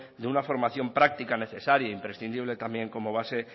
de una formación práctica necesaria e imprescindible también como base